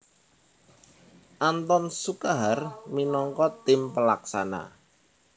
Anthon Sukahar minangka tim pelaksana